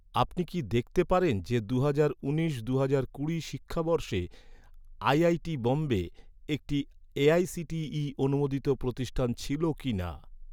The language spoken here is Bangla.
আপনি কি দেখতে পারেন যে, দুহাজার উনিশ দুহাজার কুড়ি শিক্ষাবর্ষে আইআইটি বোম্বে, একটি এ.আই.সি.টি.ই অনুমোদিত প্রতিষ্ঠান ছিল কিনা?